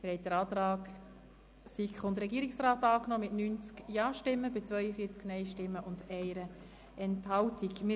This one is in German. Sie haben den Antrag von SiK und Regierung mit 90 Ja- gegen 42 Nein-Stimmen bei 1 Enthaltung angenommen.